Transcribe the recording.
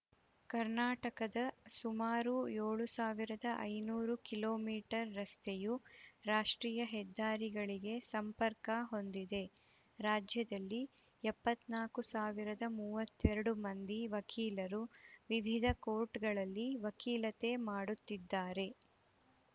ಕರ್ನಾಟಕದ ಸುಮಾರು ಏಳು ಸಾವಿರದ ಐನೂರು ಕಿಲೋ ಮೀಟರ್ ರಸ್ತೆಯು ರಾಷ್ಟ್ರೀಯ ಹೆದ್ದಾರಿಗಳಿಗೆ ಸಂಪರ್ಕ ಹೊಂದಿದೆ ರಾಜ್ಯದಲ್ಲಿ ಎಪ್ಪತ್ತ್ ನಾಕು ಸಾವಿರದ ಮೂವತ್ತೆರಡು ಮಂದಿ ವಕೀಲರು ವಿವಿಧ ಕೋರ್ಟ್‌ಗಳಲ್ಲಿ ವಕೀಲತೆ ಮಾಡುತ್ತಿದ್ದಾರೆ